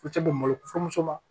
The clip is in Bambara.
U tɛ don malo furumuso la